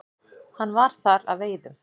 Hann var þar að veiðum.